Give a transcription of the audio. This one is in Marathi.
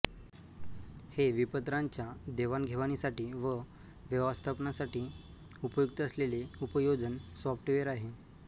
हे विपत्रांच्या देवाणघेवाणीसाठी व व्यवस्थापनासाठी उपयुक्त असलेले उपयोजन सॉफ्टवेर आहे